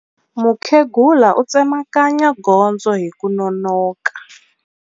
Mukhegula u tsemakanya gondzo hi ku nonoka.